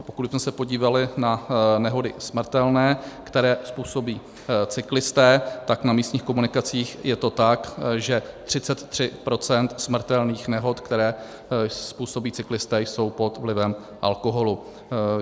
A pokud bychom se podívali na nehody smrtelné, které způsobí cyklisté, tak na místních komunikacích je to tak, že 33 % smrtelných nehod, které způsobí cyklisté, jsou pod vlivem alkoholu.